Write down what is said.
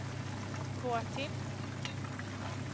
gå till